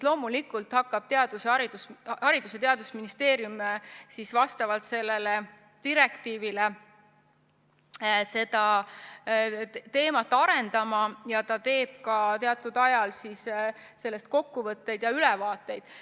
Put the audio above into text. Loomulikult hakkab Haridus- ja Teadusministeerium vastavalt direktiivile seda teemat arendama ja teeb ka teatud ajal sellest kokkuvõtteid ja ülevaateid.